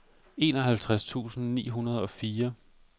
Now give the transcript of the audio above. enoghalvtreds tusind ni hundrede og fire